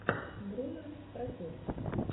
бруно стратег